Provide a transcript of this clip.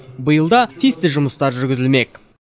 биыл да тиісті жұмыстар жүргізілмек